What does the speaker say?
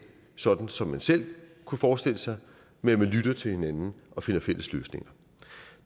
sådan som man selv kunne forestille sig men at man lytter til hinanden og finder fælles løsninger